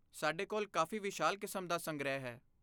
ਸਾਡੇ ਕੋਲ ਕਾਫ਼ੀ ਵਿਸ਼ਾਲ ਕਿਸਮ ਦਾ ਸੰਗ੍ਰਹਿ ਹੈ।